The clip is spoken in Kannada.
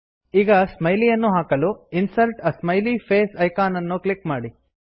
ಈಗ ಸ್ಮೈಲಿ ಅನ್ನು ಹಾಕಲು insert a smiley face icon ಅನ್ನು ಕ್ಲಿಕ್ ಮಾಡಿ